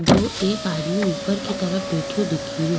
दो एक आदमी ऊपर की तरफ बैठयो दिखे रो।